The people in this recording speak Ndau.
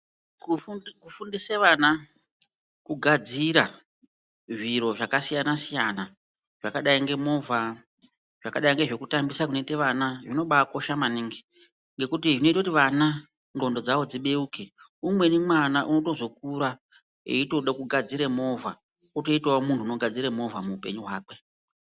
Kufundise vana kugadzira zviro zvakasiyana siyana zvakadai ngemovha zvakadai ngezvekutambisa kunoita vana zvinobaakosha maningi ngekuti zvinoita kuti vana ndxondo dzao dzibeuke umweni mwana unotozokura eitoda kugadzira movha otoitawo munhu unogadzira movha muupenyu hwakwe.